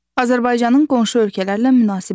Azərbaycanın qonşu ölkələrlə münasibətləri.